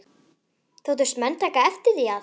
Þóttust menn taka eftir því, að